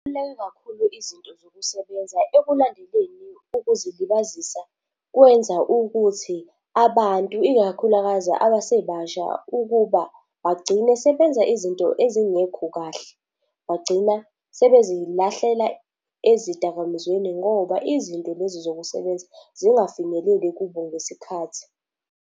kakhulu izinto zokusebenza ekulandeleni ukuzilibazisa, kwenza ukuthi abantu ikakhulukazi abasebasha ukuba bagcine sebenza izinto ezingekho kahle. Bagcina sebezilahlela ezidakamizweni ngoba izinto lezi zokusebenza zingafinyeleli kubo ngesikhathi.